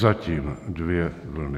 Zatím dvě vlny.